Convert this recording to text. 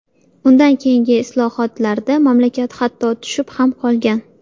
Undan keyingi hisobotlarda mamlakat hatto tushib ham qolgan.